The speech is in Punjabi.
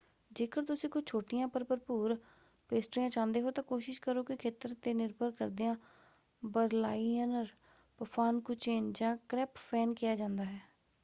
ਜੇਕਰ ਤੁਸੀਂ ਕੁਝ ਛੋਟੀਆਂ ਪਰ ਭਰਪੂਰ ਪੇਸਟ੍ਰੀਆਂ ਚਾਹੁੰਦੇ ਹੋ ਤਾਂ ਕੋਸ਼ਿਸ਼ ਕਰੋ ਕਿ ਖੇਤਰ 'ਤੇ ਨਿਰਭਰ ਕਰਦਿਆਂ ਬਰਲਾਈਨਰ ਪਫਾਨਕੁਚੇਨ ਜਾਂ ਕ੍ਰੈਪਫੈਨ ਕਿਹਾ ਜਾਂਦਾ ਹੈ।